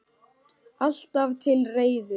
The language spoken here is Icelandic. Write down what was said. Alltaf til reiðu!